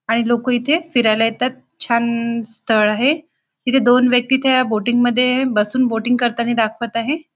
आणि लोक इथे फिरयला येतात छान स्थळ आहे इथे दोन व्यक्ति इथे बोटिंग मध्ये बसून बोटिंग करतानी दाखवत आहे.